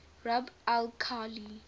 rub al khali